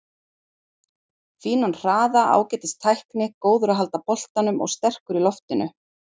Fínan hraða, ágætis tækni, góður að halda boltanum og sterkur í loftinu.